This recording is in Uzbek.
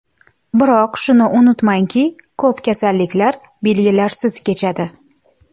Biroq shuni unutmangki, ko‘p kasalliklar belgilarsiz kechadi.